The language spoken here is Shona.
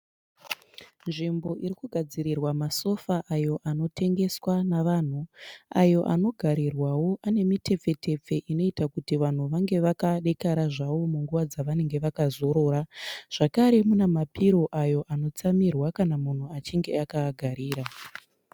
Nzvimbo iri kugadzirirwa masofa ayo anotengeswa navanhu ayo anogarirwawo ane mitepfe tepfe inoita kuti vanhu vange vakadekara zvavo munguva dzavanenge vakazorora zvakare mune mapiro ayo anotsamirwa kana munhu achinge akaagarira.